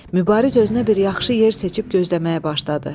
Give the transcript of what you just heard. Mübariz özünə bir yaxşı yer seçib gözləməyə başladı.